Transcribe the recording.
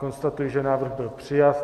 Konstatuji, že návrh byl přijat.